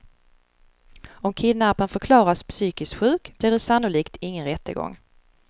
Om kidnapparen förklaras psykiskt sjuk blir det sannolikt ingen rättegång.